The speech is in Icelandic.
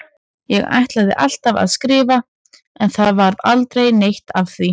Ég ætlaði alltaf að skrifa en það varð aldrei neitt af því.